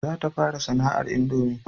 Za ta fara sana'ar indomi